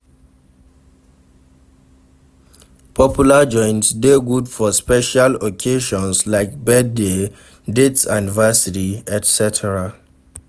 Popular joint de good for special occasions like birthday, dates anniversiry etc.